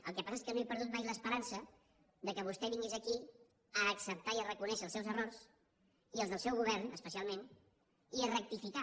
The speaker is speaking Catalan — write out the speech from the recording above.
el que passa és que no he perdut mai l’esperança que vostè vingués aquí a acceptar i a reconèixer els seus errors i els del seu govern especialment i a rectificar